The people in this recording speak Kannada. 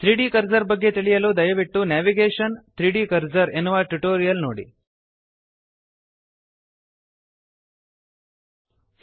3ದ್ ಕರ್ಸರ್ ಬಗ್ಗೆ ತಿಳಿಯಲು ದಯವಿಟ್ಟು ನೇವಿಗೇಷನ್ - 3ದ್ ಕರ್ಸರ್ ನೇವಿಗೇಶನ್ 3ದ್ ಕರ್ಸರ್ ಎನ್ನುವ ಟ್ಯುಟೋರಿಯಲ್ ನೋಡಿ